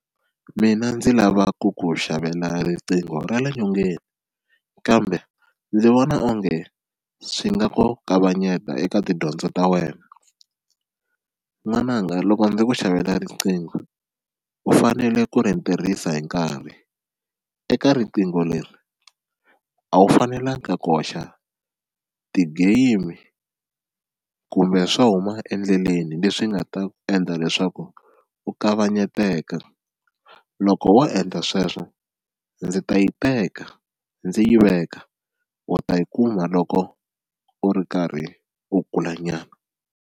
Mina ndzi lava ku ku xavela riqingho ra le nyongeni kambe ndzi vona onge swi nga ku kavanyeta eka tidyondzo ta wena, n'wananga loko ndzi ku xavela riqingho u fanele ku ri tirhisa hi nkarhi eka riqingho leri a wu fanelanga ku koxa ti-game kumbe swo huma endleleni leswi nga ta endla leswaku u kavanyeteka loko wo endla sweswo ndzi ta yi teka ndzi yi veka u ta yi kuma loko u ri karhi u kula nyana.